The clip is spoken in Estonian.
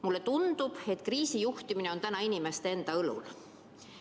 Mulle tundub, et kriisijuhtimine on inimeste enda õlul.